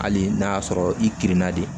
Hali n'a y'a sɔrɔ i kirinna de